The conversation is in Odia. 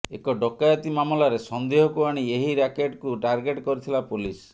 ଏକ ଡ଼କାୟତି ମାମଲାରେ ସନ୍ଦେହକୁ ଆଣି ଏହି ରାକେଟକୁ ଟାର୍ଗେଟ କରିଥିଲା ପୋଲିସ